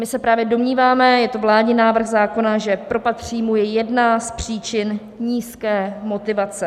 My se právě domníváme - je to vládní návrh zákona - že propad příjmu je jedna z příčin nízké motivace.